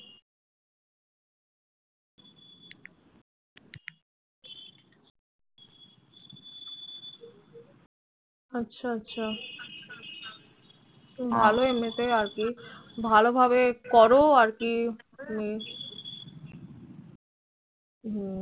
আচ্ছা আচ্ছা ভালোই এমনি তে আর কি ভালো ভাবে করো আর কি